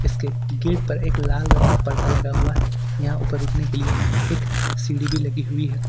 इसके गेट पर एक लाल रंग का पर्दा लगा हुआ है यहां ऊपर उठने के लिए एक सीढ़ी भी लगी हुई है।